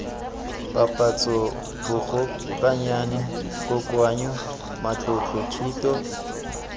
papatso bogokaganyi kokoanyo matlotlo thuto